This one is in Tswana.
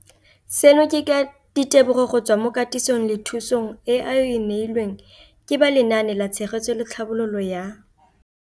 Seno ke ka ditebogo go tswa mo katisong le thu song eo a e neilweng ke ba Lenaane la Tshegetso le Tlhabololo ya